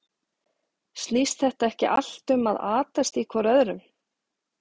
Snýst þetta ekki allt um að atast í hvor öðrum?